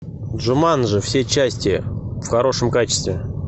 джуманджи все части в хорошем качестве